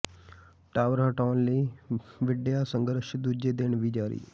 tower ਹਟਾਉਣ ਲਈ ਵਿੱਢਿਆ ਸੰਘਰਸ਼ ਦੂਜੇ ਦਿਨ ਵੀ ਜਾਰੀ